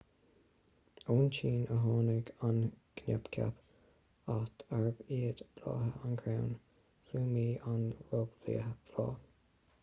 ón tsín a tháinig an coincheap áit arb iad blátha an chrainn phlumaí an roghbhláth